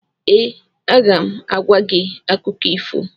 Ee, aga m agwa gị akụkọ ifo.